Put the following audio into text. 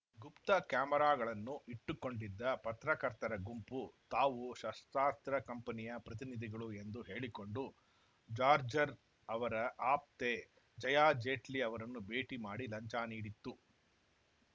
ಗುಪ್ತ ಕ್ಯಾಮೆರಾಗಳನ್ನು ಇಟ್ಟುಕೊಂಡಿದ್ದ ಪತ್ರಕರ್ತರ ಗುಂಪು ತಾವು ಶಸ್ತ್ರಾಸ್ತ್ರ ಕಂಪನಿಯ ಪ್ರತಿನಿಧಿಗಳು ಎಂದು ಹೇಳಿಕೊಂಡು ಜಾರ್ಜ್ ರ್ ಅವರ ಆಪ್ತೆ ಜಯಾ ಜೇಟ್ಲಿ ಅವರನ್ನು ಭೇಟಿ ಮಾಡಿ ಲಂಚ ನೀಡಿತ್ತು